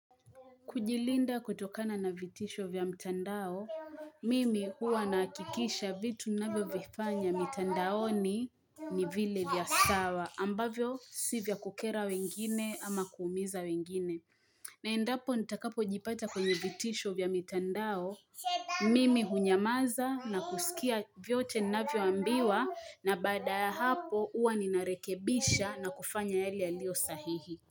Kujilinda kutokana na vitisho vya mtandao, mimi huwa nahakikisha vitu ninavyo vifanya mtandaoni ni vile vya sawa ambavyo si vya kukera wengine ama kuumiza wengine. Na endapo nitakapo jipata kwenye vitisho vya mtandao, mimi hunyamaza na kusikia vyote ninavyo ambiwa na baada ya hapo huwa ninarekebisha na kufanya yale yalio sahihi.